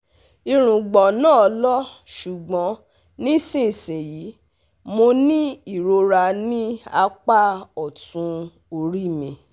Irùngbọ̀n náà lọ ṣùgbọ́n nísinsìnyí mo ní ìrora ní apá ọ̀tún orí mi